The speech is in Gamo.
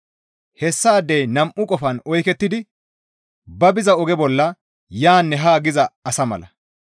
Hessaadey nam7u qofan oykettidi ba biza oge bolla yaanne haa giza asa mala.